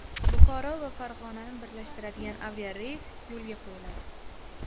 Buxoro va Farg‘onani birlashtiradigan aviareys yo‘lga qo‘yiladi.